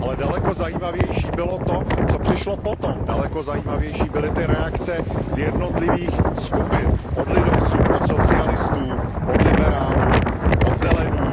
Ale daleko zajímavější bylo to, co přišlo potom, daleko zajímavější byly ty reakce z jednotlivých skupin, od lidovců, od socialistů, od liberálů, od zelených.